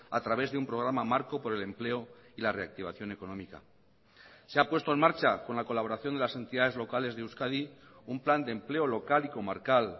a través de un programa marco por el empleo y la reactivación económica se ha puesto en marcha con la colaboración de las entidades locales de euskadi un plan de empleo local y comarcal